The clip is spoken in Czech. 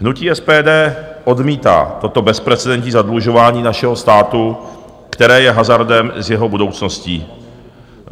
Hnutí SPD odmítá toto bezprecedentní zadlužování našeho státu, které je hazardem s jeho budoucností.